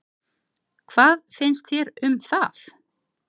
Hvað, hvað finnst þér um það?